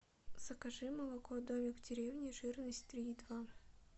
закажи молоко домик в деревне жирность три и два